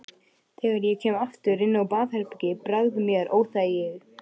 Þegar ég kem aftur inn á baðherbergið bregður mér óþægi